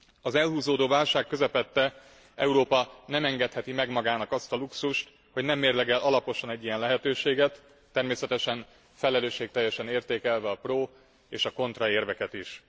Az elhúzódó válság közepette Európa nem engedheti meg magának azt a luxust, hogy nem mérlegel alaposan egy ilyen lehetőséget, természetesen felelősségteljesen értékelve a pro és a kontra érveket is.